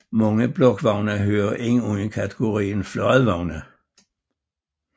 Mange blokvogne hører ind under kategorien fladvogne